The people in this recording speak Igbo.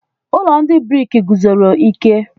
Ụlọ ndị briki guzosiri ike.